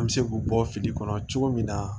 An bɛ se k'u bɔ fili kɔnɔ cogo min na